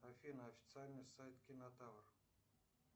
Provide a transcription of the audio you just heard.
афина официальный сайт кинотавр